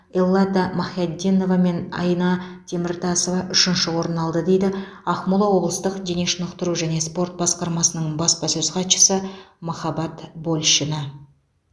эллада махяддинова мен айна теміртасова үшінші орын алды дейді ақмола облыстық дене шынықтыру және спорт басқармасының баспасөз хатшысы махаббат большина